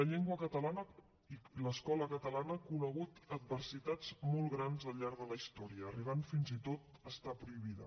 l’escola catalana ha conegut adversitats molt grans al llarg de la història i ha arribat fins i tot a estar prohibida